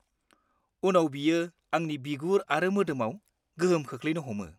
-उनाव बियो आंनि बिगुर आरो मोदोमाव गोहोम खोख्लैनो हमो।